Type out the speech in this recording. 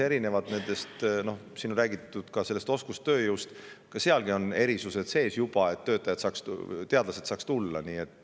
Ja isegi oskustööjõu puhul on juba erisused loodud, et teadlased saaks tulla.